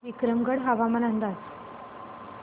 विक्रमगड हवामान अंदाज